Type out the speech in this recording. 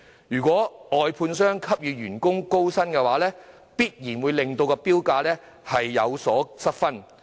如果外判商給予員工較高薪酬，必然會令投標價上升，因而失分。